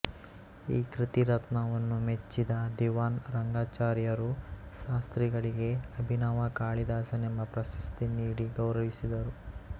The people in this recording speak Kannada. ಈ ಕೃತಿರತ್ನವನ್ನು ಮೆಚ್ಚಿದ ದಿವಾನ್ ರಂಗಾಚಾರ್ಯರು ಶಾಸ್ತ್ರಿಗಳಿಗೆ ಅಭಿನವ ಕಾಳಿದಾಸನೆಂಬ ಪ್ರಶಸ್ತಿ ನೀಡಿ ಗೌರವಿಸಿದರು